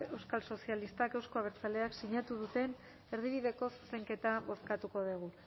euskal sozialistak euzko abertzaleak sinatu duten erdibideko zuzenketa bozkatuko dugu